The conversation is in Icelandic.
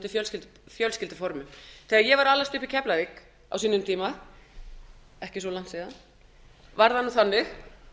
fjölskylduformum þegar ég var að alast upp í keflavík á sínum tíma ekki svo langt síðan var það þannig